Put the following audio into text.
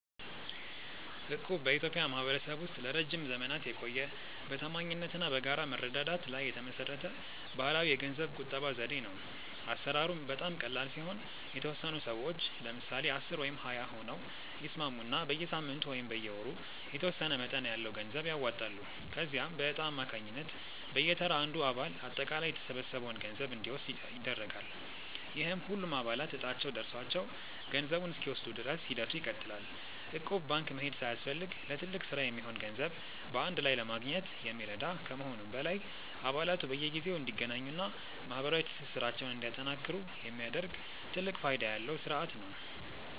እቁብ በኢትዮጵያ ማኅበረሰብ ውስጥ ለረጅም ዘመናት የቆየ፣ በታማኝነት እና በጋራ መረዳዳት ላይ የተመሠረተ ባሕላዊ የገንዘብ ቁጠባ ዘዴ ነው። አሠራሩም በጣም ቀላል ሲሆን፤ የተወሰኑ ሰዎች (ለምሳሌ 10 ወይም 20 ሆነው) ይስማሙና በየሳምንቱ ወይም በየወሩ የተወሰነ መጠን ያለው ገንዘብ ያዋጣሉ። ከዚያም በዕጣ አማካኝነት በየተራ አንዱ አባል አጠቃላይ የተሰበሰበውን ገንዘብ እንዲወስድ ይደረጋል፤ ይህም ሁሉም አባላት ዕጣቸው ደርሷቸው ገንዘቡን እስኪወስዱ ድረስ ሂደቱ ይቀጥላል። እቁብ ባንክ መሄድ ሳያስፈልግ ለትልቅ ሥራ የሚሆን ገንዘብ በአንድ ላይ ለማግኘት የሚረዳ ከመሆኑም በላይ፣ አባላቱ በየጊዜው እንዲገናኙና ማኅበራዊ ትስስራቸውን እንዲያጠናክሩ የሚያደርግ ትልቅ ፋይዳ ያለው ሥርዓት ነው።